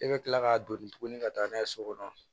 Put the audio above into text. E bɛ tila k'a doni tuguni ka taa n'a ye so kɔnɔ